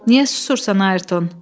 Niyə susursan, Ayrton?